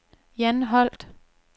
Jan Holt